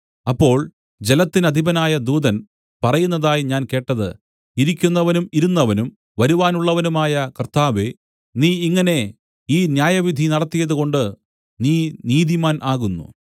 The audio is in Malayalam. അപ്പോൾ ജലത്തിനധിപനായ ദൂതൻ പറയുന്നതായി ഞാൻ കേട്ടത് ഇരിക്കുന്നവനും ഇരുന്നവനും വരുവാനുള്ളവനുമായ കർത്താവേ നീ ഇങ്ങനെ ഈ ന്യായവിധി നടത്തിയതുകൊണ്ട് നീ നീതിമാൻ ആകുന്നു